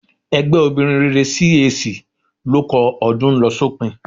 Ẹgbẹ́ obìnrin rere CAC ló kọ "Ọdún ń lọ sópin"